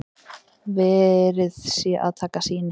Verið sé að taka sýni